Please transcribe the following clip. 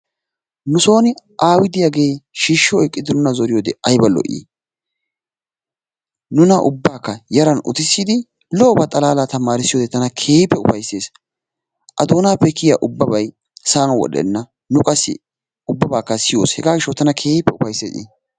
nusooni aawi diyaagee shiishshi oyiqqidi nuna zoriyoodee ayiba lo'ii! nuna ubbaakka yaran utissidi lo'oba xalaalaa tamaarissiyoodee tana keehippe ufayissees. a doonaappe kiyiyaa ubbabay sa'an wodhdhenna. nu qassi ubbabaaakka siyoos hegaa gishshawu tana keehippe ufayissees i.